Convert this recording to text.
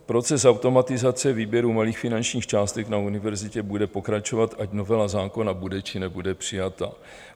Proces automatizace výběru malých finančních částek na univerzitě bude pokračovat, ať novela zákona bude, či nebude přijata.